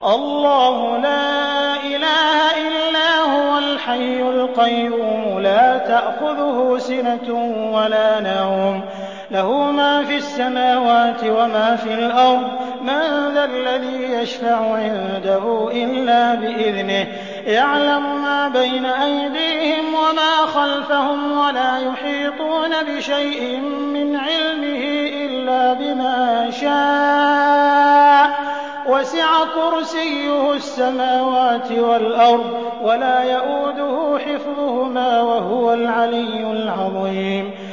اللَّهُ لَا إِلَٰهَ إِلَّا هُوَ الْحَيُّ الْقَيُّومُ ۚ لَا تَأْخُذُهُ سِنَةٌ وَلَا نَوْمٌ ۚ لَّهُ مَا فِي السَّمَاوَاتِ وَمَا فِي الْأَرْضِ ۗ مَن ذَا الَّذِي يَشْفَعُ عِندَهُ إِلَّا بِإِذْنِهِ ۚ يَعْلَمُ مَا بَيْنَ أَيْدِيهِمْ وَمَا خَلْفَهُمْ ۖ وَلَا يُحِيطُونَ بِشَيْءٍ مِّنْ عِلْمِهِ إِلَّا بِمَا شَاءَ ۚ وَسِعَ كُرْسِيُّهُ السَّمَاوَاتِ وَالْأَرْضَ ۖ وَلَا يَئُودُهُ حِفْظُهُمَا ۚ وَهُوَ الْعَلِيُّ الْعَظِيمُ